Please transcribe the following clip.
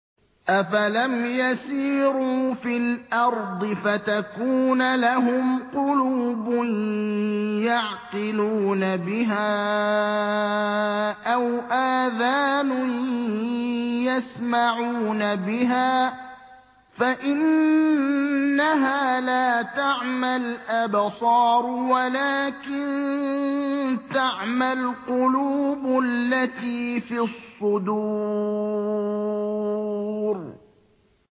أَفَلَمْ يَسِيرُوا فِي الْأَرْضِ فَتَكُونَ لَهُمْ قُلُوبٌ يَعْقِلُونَ بِهَا أَوْ آذَانٌ يَسْمَعُونَ بِهَا ۖ فَإِنَّهَا لَا تَعْمَى الْأَبْصَارُ وَلَٰكِن تَعْمَى الْقُلُوبُ الَّتِي فِي الصُّدُورِ